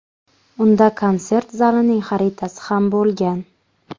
Unda konsert zalining xaritasi ham bo‘lgan.